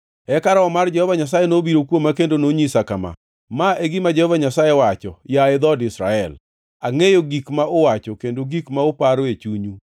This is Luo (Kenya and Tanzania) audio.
Eka Roho mar Jehova Nyasaye nobiro kuoma, kendo nonyisa kama: Ma e gima Jehova Nyasaye wacho, yaye dhood Israel, angʼeyo gik ma uwacho kendo gik ma uparo e chunyu.